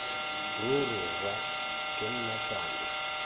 ruri rra ke nna thando